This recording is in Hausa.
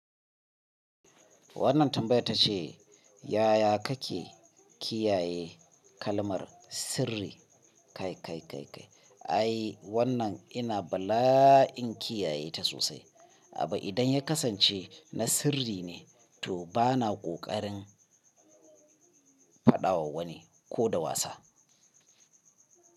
Wannan tambaya tace, yaya kake kiyaye kalmar sirri? Kai kai kai kai ai wannan ina bala'in kiyaye ta sosai. Abbu idan ya kasance na sirri ne to bana ƙoƙarin faɗawa wani ko da wasa.